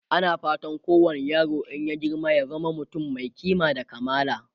ana fatan kowani yaro in ya girma ya zama mutum Mai kima da kamala